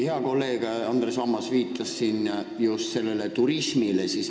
Hea kolleeg Andres Ammas viitas siin ostuturismile.